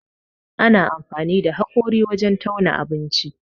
Ana amfani da haƙori wurin tauna abinci